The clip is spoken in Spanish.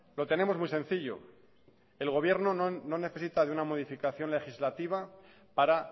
lo tenemos muy sencillo el gobierno no necesita de una modificación legislativa para